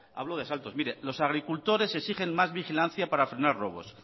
hablo de asaltos mire los agricultores exigen más vigilancia para frenar robos